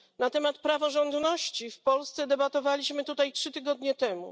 Na temat praworządności w Polsce debatowaliśmy tutaj trzy tygodnie temu.